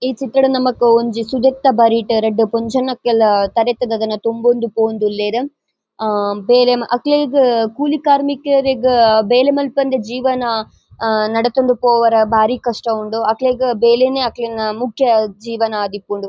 ಈ ಚಿತ್ರಡ್ ನಮಕ್ ಒಂಜಿ ಸುದೆತ ಬರಿಟ್ ರಡ್ಡ್ ಪೊಂಜೊವುನಕುಲು ತರಟ್ಟ್ ದಾದನ ತುಂಬೊಂದು ಪೋವೊಂದುಲ್ಲೆರ್. ಆ ಬೇಲೆ ಮ ಅಕ್ಲೆಗ್ ಕೂಲಿ ಕಾರ್ಮಿಕೆರೆಗ್ ಬೇಲೆ ಮನ್ಪಂದೆ ಜೀವನ ಆ ನಡತೊಂದು ಪೋವರೆ ಬಾರಿ ಕಷ್ಟ ಉಂಡು. ಅಕ್ಲೆಗ್ ಬೇಲೆನೆ ಅಕಲ್ನ ಮುಖ್ಯ ಜೀವನ ಆದಿಪ್ಪುಂಡು.